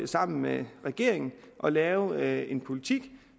sammen med regeringen at lave en politik